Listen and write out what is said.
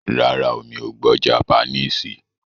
Rárá o, Mi ò gbọ́ japaníìsì.